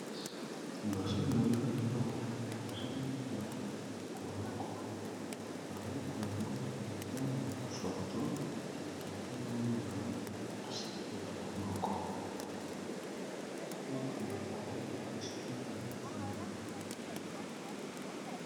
Liboso nanga awa nazo mona buku moko na buku yango eza na foto ya tata na mwana na ye esali na loboko buku bakomi histoire vrai.